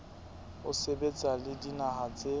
ho sebetsa le dinaha tse